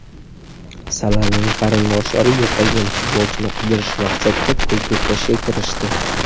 Salaning qarindoshlari yo‘qolgan futbolchini qidirish maqsadida pul to‘plashga kirishdi.